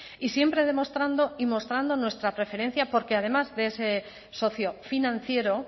y siempre demostrando y mostrando nuestra preferencia porque además de ese socio financiero